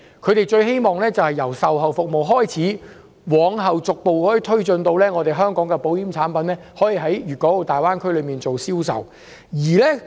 他們最希望由售後服務開始，往後逐步推進至香港的保險產品可以在大灣區內銷售。